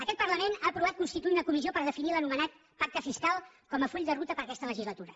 aquest parlament ha aprovat constituir una comissió per definir l’anomenat pacte fiscal com a full de ruta per a aquesta legislatura